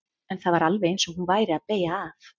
En það var alveg eins og hún væri að beygja af.